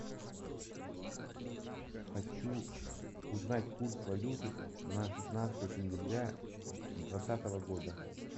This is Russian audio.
хочу узнать курс валюты на шестнадцатое сентября двадцатого года